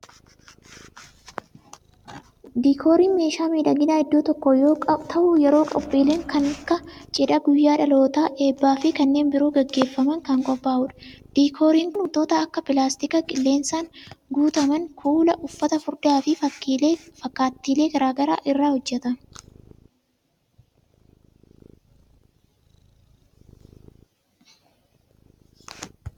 Diikooriin meeshaa miidhaginaa iddoo tokkoo yoo ta'u, yeroo qophiileen kan akka:cidha, guyyaa dhalootaa, eebba fi kanneen biroo gaggeeffaman kan qophaa'u dha. Diikooriin kun, wantoota akka:pilaastika qilleensaan guutaman, kuula, uffata furdaa fi fakkaattilee garaa garaa irra hojjatame.